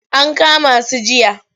An kama su jiya.